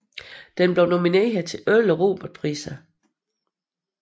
Den blev nomineret til 11 Robertpriser